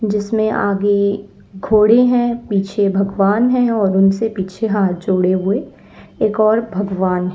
जिसमें आगे घोड़े हैं। पीछे भगवान है और उनसे पीछे हाथ जोड़े हुए एक और भगवान --